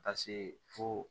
Ka se fo